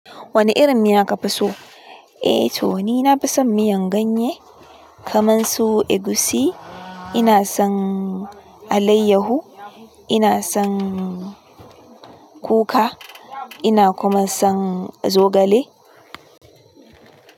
Wani irin miya ka fi so? Eh to ni na fi son miyan ganye, kamansu, egusi. Ina son alayyahu, ina son kuka, ina kuma son zogale.